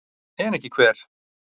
En ekki hver?